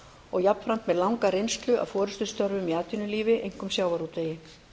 og jafnframt með langa reynslu af forustustörfum í atvinnulífi einkum sjávarútvegi